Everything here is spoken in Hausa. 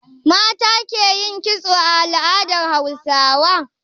Mata ke yin kitso a al'adar Hausawa.